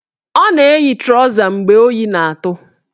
Ọ na-eyi trọza mgbe oyi na-atụ